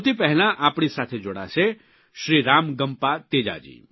સૌથી પહેલાં આપણી સાથે જોડાશે શ્રીરામ ગમ્પા તેજાજી